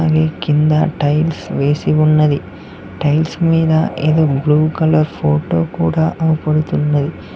మీ కింద టైల్స్ వేసి ఉన్నవి టైల్స్ మీద ఏదో బ్లూ కలర్ ఫోటో కూడా కనబడుతున్నవి.